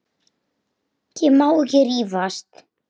Ég má ekki rífast.